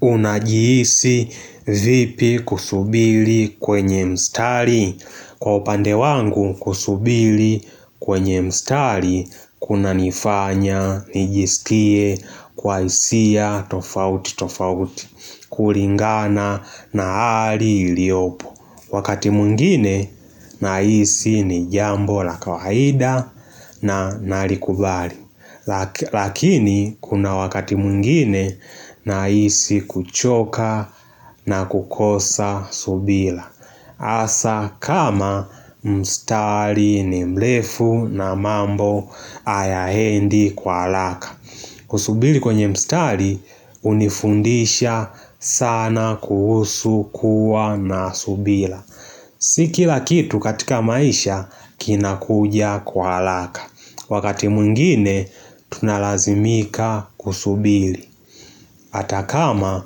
Unajihisi vipi kusubiri kwenye mstari? Kwa upande wangu kusubiri kwenye mstari, kunanifanya, nijisikie, kwa hisia, tofauti, tofauti, kulingana na hali iliyopo. Wakati mwingine nahisi ni jambo la kawaida na nalikubali Lakini kuna wakati mwingine nahisi kuchoka na kukosa subira hasa kama mstari ni mrefu na mambo hayaendi kwa haraka Kusubiri kwenye mstari hunifundisha sana kuhusu kuwa na subira Si kila kitu katika maisha kinakuja kwa haraka. Wakati mwingine tunalazimika kusubiri. Hata kama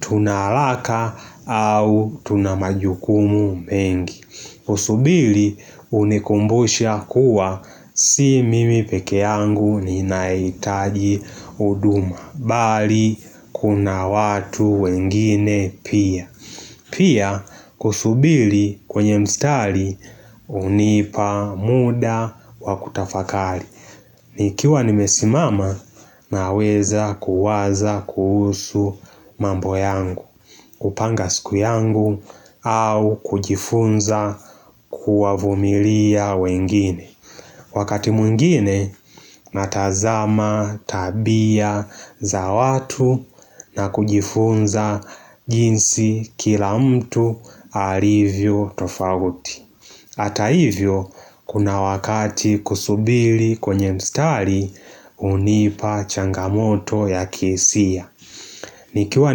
tuna haraka au tuna majukumu mengi. Kusubiri hunikumbusha kuwa si mimi pekee yangu ninahitaji huduma. Bali kuna watu wengine pia Pia kusubiri kwenye mstari hunipa muda wa kutafakari Nikiwa nimesimama naweza kuwaza kuhusu mambo yangu kupanga siku yangu au kujifunza kuwavumilia wengine Wakati mwigine natazama tabia za watu na kujifunza jinsi kila mtu alivyo tofauti. Hata hivyo kuna wakati kusubiri kwenye mstari hunipa changamoto ya kihisia. Nikiwa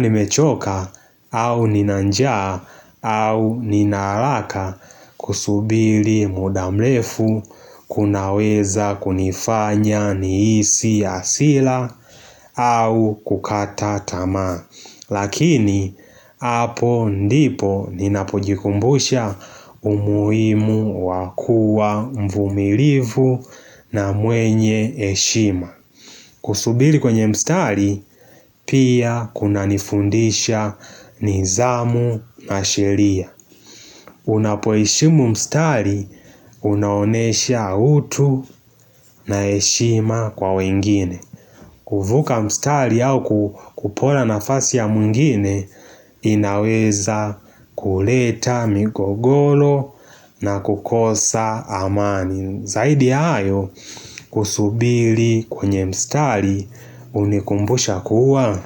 nimechoka au nina njaa au nina haraka kusubiri muda mrefu kunaweza kunifanya nihisi hasira au kukata tama Lakini, hapo ndipo ninapojikumbusha umuhimu wa kuwa mvumilivu na mwenye heshima Kusubiri kwenye mstari, pia kuna nifundisha nidhamu na sheria Unapoheshimu mstari, unaonyesha utu na heshima kwa wengine kuvuka mstari au kupora nafasi ya mwingine, inaweza kuleta migogoro na kukosa amani Zaidi ya hayo kusubiri kwenye mstari hunikumbusha kuwa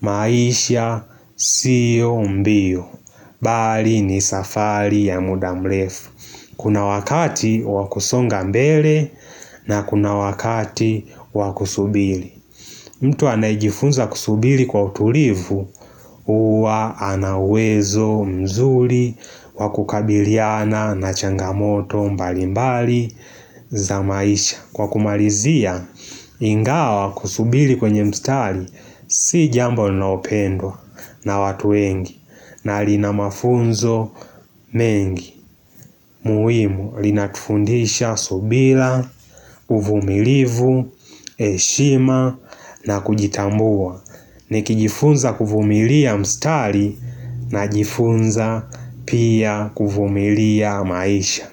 maisha siyo mbio Bali ni safari ya muda mrefu Kuna wakati wa kusonga mbele na kuna wakati wa kusubiri mtu anayejifunza kusubiri kwa utulivu huwa ana uwezo mzuri wa kukabiliana na changamoto mbali mbali za maisha kwa kumalizia ingawa kusubiri kwenye mstari si jambo linalopendwa na watu wengi na lina mafunzo mengi muhimu linatufundisha subira, uvumilivu heshima na kujitambua nikijifunza kuvumilia mstari najifunza pia kuvumilia maisha.